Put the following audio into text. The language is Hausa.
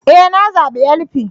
E! Na zabi LP